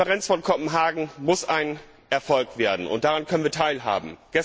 Die Konferenz von Kopenhagen muss ein Erfolg werden, und daran können wir teilhaben.